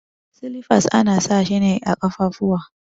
Silifas ana sa shi ne a kafafuwa.